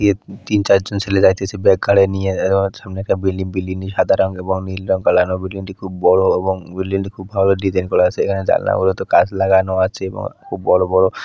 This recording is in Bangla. তিন চার জন ছেলে যাইতেছে ব্যাগ ঘাড়ে নিয়ে। সামনে একটা বিল্ডিং । বিল্ডিংটি সাদা রং এবং নীল রং ফেলানো। বিল্ডিংটি খুব বড়ো এবং বিল্ডিংটি খুব ভাবে ডিসাইন করা আছে। এখানে জানলা গুলোতে কাচ লাগানো আছে এবং খুব বড়ো বড়ো --